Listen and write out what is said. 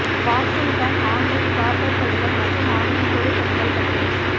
Washington online charter பள்ளிகள் மற்றும் online பொது பள்ளிகள் பட்டியல்